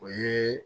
O ye